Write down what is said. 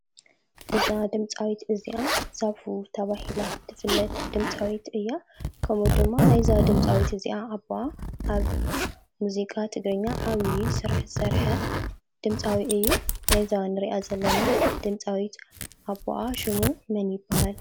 እዛ ድምፃዊት እዚኣ ዛፉ ተባሂላ ትፍለጥ ድምፃዊት እያ፡፡ ከምኡ ድማ ናይእዛ ድምፃዊት እዚኣ ኣቡኣ ኣብ ሙዚቃ ትግርኛ ዓብዪ ስራሕ ዝሰርሐ ድምፃዊ እዩ፡፡ ናይእዛ ንሪኣ ዘለና ድምፃዊት ኣቡኣ ሽሙ መን ይበሃል?